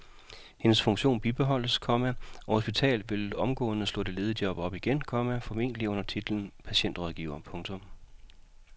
Hendes funktion bibeholdes, komma og hospitalet vil omgående slå det ledige job op igen, komma formentlig under titlen patientrådgiver. punktum